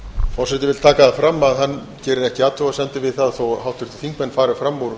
forseti vill taka það fram að hann gerir ekki athugasemdir við það þó háttvirtir þingmenn fari fram úr